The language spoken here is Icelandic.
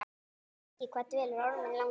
Bjarki, hvað dvelur Orminn langa?